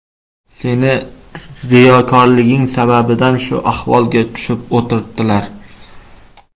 Sening riyokorliging sababidan shu ahvolga tushib o‘tiribdilar.